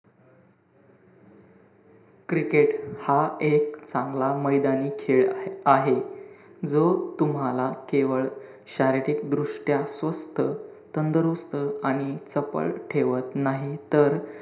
Cricket हा एक चांगला मैदानी खेळ आहे. जो तूम्हाला केवळ शारीरिक दृष्ट्या स्वस्थ, तंदुरुस्त आणि चपळ ठेवत नाही, तर,